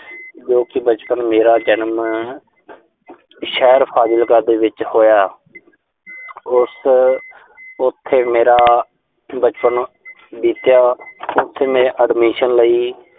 ਜੋ ਕਿ ਬਚਪਨ ਮੇਰਾ ਜਨਮ ਸ਼ਹਿਰ ਫ਼ਾਜ਼ਿਲਕਾ ਦੇ ਵਿੱਚ ਹੋਇਆ। ਉਸ, ਉਥੇ ਮੇਰਾ ਬਚਪਨ ਬੀਤਿਆ। ਉਥੇ ਮੈਂ admission ਲਈ।